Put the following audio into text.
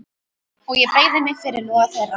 Og ég beygi mig fyrir loga þeirra.